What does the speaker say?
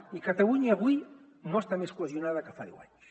i catalunya avui no està més cohesionada que fa deu anys